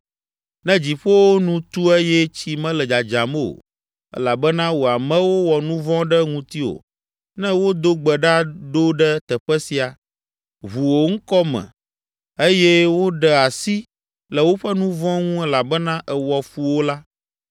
“Ne dziƒowo nu tu eye tsi mele dzadzam o elabena wò amewo wɔ nu vɔ̃ ɖe ŋutiwò, ne wodo gbe ɖa ɖo ɖe teƒe sia, ʋu wò ŋkɔ me eye woɖe asi le woƒe nu vɔ̃ ŋu elabena èwɔ fu wo la,